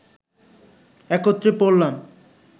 একত্রে পড়লাম